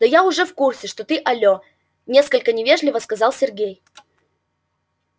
да я уже в курсе что ты алло несколько невежливо сказал сергей